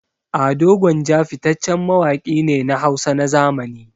Ado Gwanja fitaccen mawaƙi ne na Hausa na zamani.